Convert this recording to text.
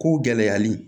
Ko gɛlɛyali